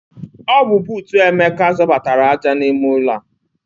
Ọ bu bootu Emeka zọbatara aja n'ime ụlọ a.